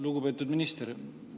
Lugupeetud minister!